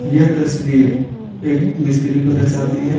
यह तस्वीर एक मिस्त्री को दर्शाती ह।